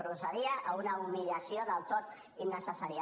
procedia a una humiliació del tot innecessària